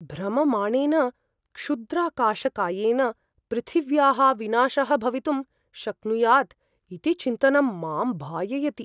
भ्रममाणेन क्षुद्राकाशकायेन पृथिव्याः विनाशः भवितुं शक्नुयात् इति चिन्तनं मां भाययति।